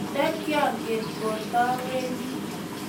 Ndikyangen kotawendi